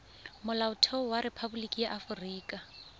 molaotlhomo wa rephaboliki ya aforika